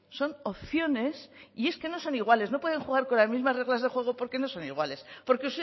son opciones y es que no son iguales no pueden jugar con las mismas reglas de juego porque no son iguales porque